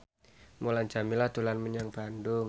Mulan Jameela dolan menyang Bandung